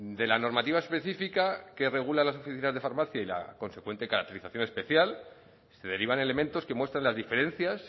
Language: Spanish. de la normativa específica que regula las oficinas de farmacia y la consecuente caracterización especial se derivan elementos que muestran las diferencias